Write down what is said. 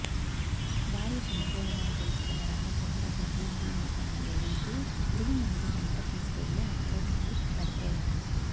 భార్య చనిపోయిందని తెలుసుకున్న రామచంద్ర బహిర్భూమికని వెళ్తూ పురుగుమందు వెంట తీసుకెళ్లి అక్కడే తాగి పడిపోయాడు